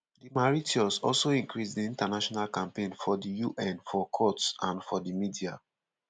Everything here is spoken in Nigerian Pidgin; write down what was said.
di mauritius also increase dia international campaign for di un for courts and for di media.